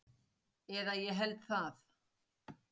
Eða ég held það